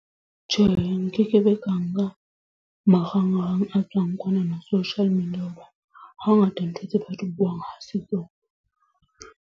Tjhe, nkekebe ka nka marangrang a tswang kwanana social media hoba hangata ntho tse ba di buang ha se tsona.